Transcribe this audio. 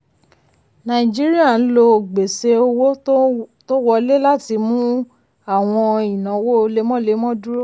nàìjíríà ń lo gbèsè owó tó wọlé láti mú àwọn ìnáwó lemọ́lemọ́ dúró.